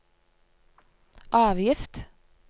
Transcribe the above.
avgift